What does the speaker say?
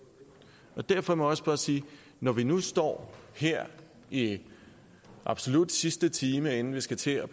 derfor må jeg også bare sige at når vi nu står her i absolut sidste time inden vi skal til at